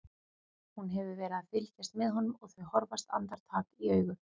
Hún hefur verið að fylgjast með honum og þau horfast andartak í augu.